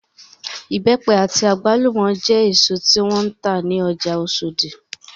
Ibẹ́pẹ àti àgbálùmọ́ jẹ́ èsò tí wọ́n ń tà ní ọjà Osodi